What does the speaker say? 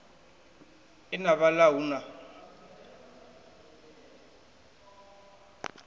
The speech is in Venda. e na vhala hu na